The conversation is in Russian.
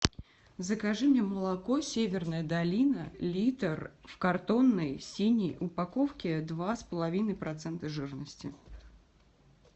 закажи мне молоко северная долина литр в картонной синей упаковке два с половиной процента жирности